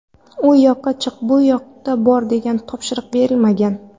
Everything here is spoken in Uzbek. U yoqqa chiq, bu yoqqa bor degan topshiriq berilmagan.